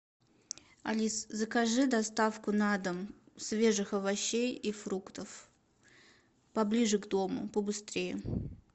алис закажи доставку на дом свежих овощей и фруктов поближе к дому побыстрее